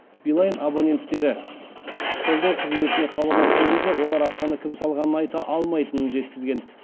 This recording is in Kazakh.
билайн абоненттері қолдау қызметіне хабарласқан кезде олар ақшаны кім салғанын айта алмайтынын жеткізген